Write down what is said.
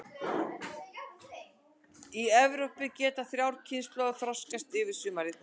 Í Evrópu geta þrjár kynslóðir þroskast yfir sumarið.